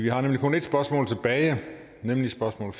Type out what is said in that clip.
har kun ét spørgsmål tilbage fordi spørgsmål